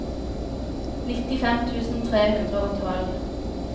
nittifem tusen tre hundre og tolv